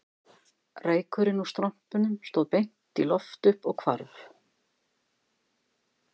Reykurinn úr strompunum stóð beint í loft upp og hvarf